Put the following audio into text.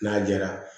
N'a jara